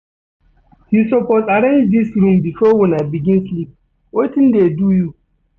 You suppose arrange dis room before una begin sleep, wetin dey do you?